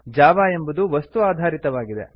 Java ಎಂಬುದು ವಸ್ತು ಆಧಾರಿತವಾಗಿದೆ